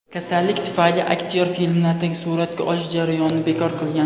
Kasallik tufayli aktyor filmlardagi suratga olish jarayonini bekor qilgan.